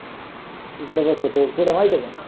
इकड बसवतो कुठ माहित आहे काय.